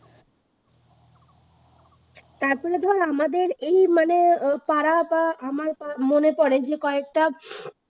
এখনো ধর আমাদের এই মানে পাড়া বা আমার পা মনে পরে যে কয়েকটা